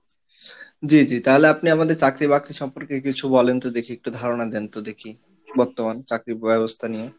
জি, জি, তাহলে আপনি আমাদের চাকরি বাকরি সম্পর্কে কিছু বলেন তো দেখি, একটু ধারণা দেন তো দেখি, বর্তমান. চাকরির ব্যবস্থা নিয়ে।